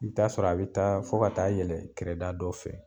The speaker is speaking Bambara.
I bi t'a sɔrɔ a bɛ taa fo ka taa yɛlɛn kɛrɛda dɔ fɛ